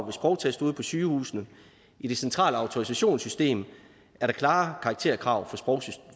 en sprogtest ude på sygehusene i det centrale autorisationssystem er der klare karakterkrav